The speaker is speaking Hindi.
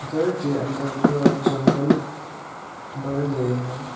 घर के अंदर पूरा जंगल भर गए है।